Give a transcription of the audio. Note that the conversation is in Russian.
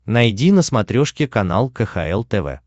найди на смотрешке канал кхл тв